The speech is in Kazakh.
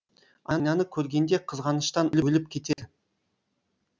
айнаны көргенде қызғаныштан өліп кетер